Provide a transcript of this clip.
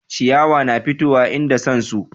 ciyawa na fitowa inda san su